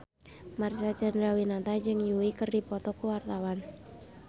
Marcel Chandrawinata jeung Yui keur dipoto ku wartawan